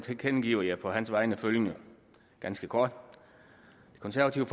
tilkendegiver jeg på hans vegne følgende ganske kort det konservative